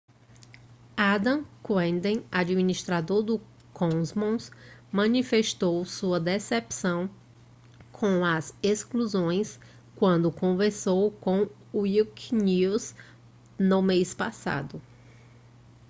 adam cuerden administrador do commons manifestou sua decepção com as exclusões quando conversou com o wikinews no mês passado